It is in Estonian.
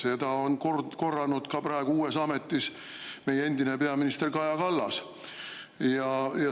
Seda on korranud ka praegu uues ametis olev meie endine peaminister Kaja Kallas.